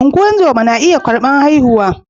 Ungozama na iya karbar haihuwa